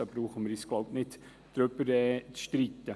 Darüber brauchen wir uns wohl nicht zu streiten.